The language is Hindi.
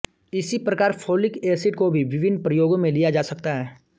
इसी प्रकार फोलिक एसिड को भी विभिन्न प्रयोगों में लिया जा सकता है